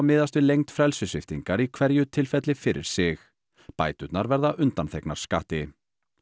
miðast við lengd frelsissviptingar í hverju tilfelli fyrir sig bæturnar verða undanþegnar skatti